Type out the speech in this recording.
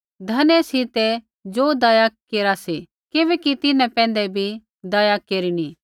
धन्य सी ते ज़ो दया केरा सी किबैकि तिन्हां पैंधै बी दया केरिनी